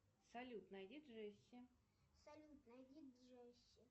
салют найди джесси